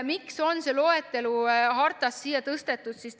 Miks on see loetelu hartast siia eelnõusse tõstetud?